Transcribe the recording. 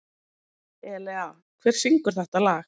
Elea, hver syngur þetta lag?